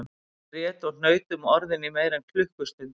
Ég grét og hnaut um orðin í meira en klukkustund